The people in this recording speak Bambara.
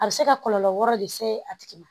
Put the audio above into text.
A bɛ se ka kɔlɔlɔ wɛrɛw le se a tigi ma